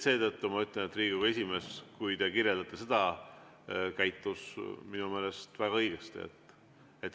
Seetõttu ma ütlen, et Riigikogu esimees käitus minu meelest väga õigesti.